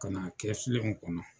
Ka n'a kɛ filenw kɔnɔ.